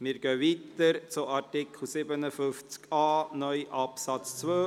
Wir gehen weiter zu Artikel 57a (neu) Absatz 2.